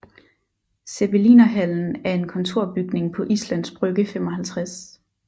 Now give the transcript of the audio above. Zeppelinerhallen er en kontorbygning på Islands Brygge 55